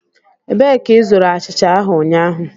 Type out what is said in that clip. Ebee ka ịzụrụ achịcha ahụ ụnyaahụ?